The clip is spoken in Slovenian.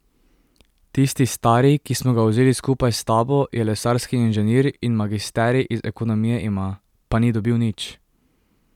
Tisti stari, ki smo ga vzeli skupaj s tabo, je lesarski inženir in magisterij iz ekonomije ima, pa ni dobil nič.